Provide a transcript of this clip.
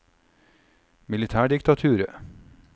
militærdiktaturet